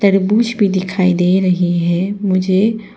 तरबूज भी दिखाई दे रही है मुझे--